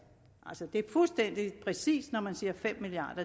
altså det er fuldstændig præcist når man siger fem milliard